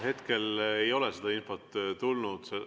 Hetkel ei ole seda infot tulnud.